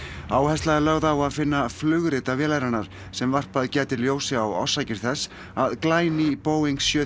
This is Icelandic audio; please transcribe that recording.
áhersla er lögð á að finna flugrita vélarinnar sem varpað gæti ljósi á orsakir þess að glæný Boeing sjö